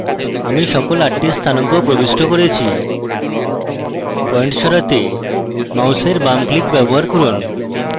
আমি সকল আটটি স্থানাঙ্ক প্রবিষ্ট করেছি পয়েন্ট সরাতে মাউসের বাম click ব্যবহার করুন